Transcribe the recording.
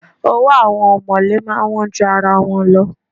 Owó àwọn ọ̀mọ̀lé máa ń wọ́n jura wọn lọ.